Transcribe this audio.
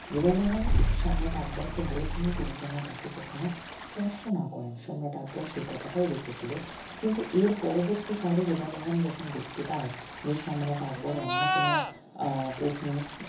যোধা বেগম সম্রাট আকবরকে বলেছিলেন তিনি যেন তাকে কখনো স্পর্শ না করেন সম্রাট আকবর সেই কথাটাই রেখেছিল কিন্তু এর পরবর্তি কালে যোধা বেগম যখন দেখতে পায় যে সম্রাট আকবর অন্য কোনো আহ পত্নির